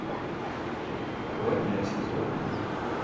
ладья сезон один